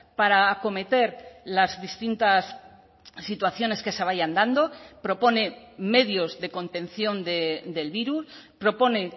para acometer las distintas situaciones que se vayan dando propone medios de contención del virus propone